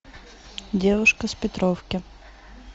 девушка с петровки